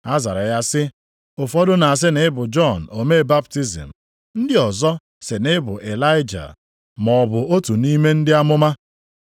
Ha zara ya sị, “Ụfọdụ na-asị na ị bụ Jọn omee baptizim, ndị ọzọkwa sị na ị bụ Ịlaịja maọbụ otu nʼime ndị amụma.”